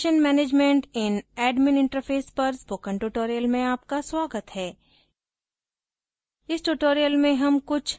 configuration management in admin interface पर spoken tutorial में आपका स्वागत है